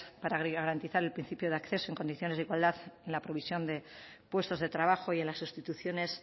para garantizar el principio de acceso en condiciones de igualdad en la provisión de puestos de trabajo y en las sustituciones